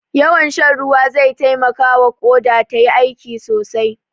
Yawan shan ruwa zai taimakawa Ƙoda tayi aiki sosai.